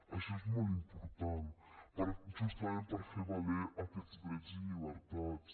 això és molt important justament per fer valer aquests drets i llibertats